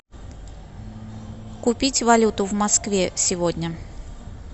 купить валюту в москве сегодня